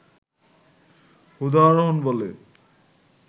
উদাহরণ বলে